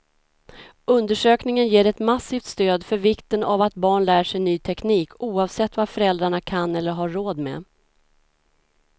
Undersökningen ger ett massivt stöd för vikten av att barn lär sig ny teknik, oavsett vad föräldrarna kan eller har råd med.